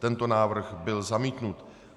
Tento návrh byl zamítnut.